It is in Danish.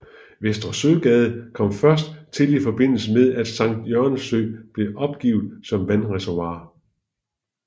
Vester Søgade kom først til i forbindelse med at Sankt Jørgens Sø blev opgivet som vandreservoir